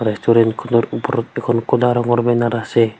Restaurant খনৰ ওপৰত দুখন ক'লা ৰঙৰ বেনাৰ আছে।